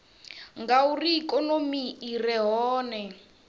ngauri ikonomi i re hone